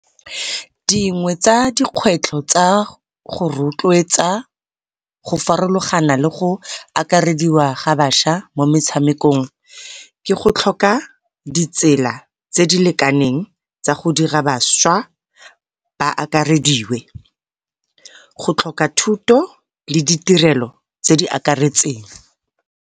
Dingwe tsa dikgwetlho tsa go rotloetsa go farologana le go akarediwa ga bašwa mo metshamekong ke go tlhoka ditsela tse di lekaneng tsa go dira bašwa ba akarediwe, go tlhoka thuto le ditirelo tse di akaretseng.